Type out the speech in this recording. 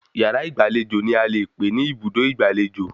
Yàrá ìgbàlejò ni a lè pè ní Ibùdó Ìgbàlejò